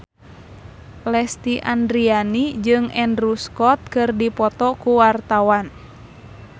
Lesti Andryani jeung Andrew Scott keur dipoto ku wartawan